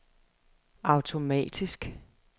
automatisk